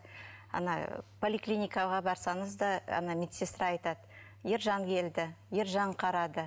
ана поликлиникаға барсаңыз да ана медсестра айтады ержан келді ержан қарады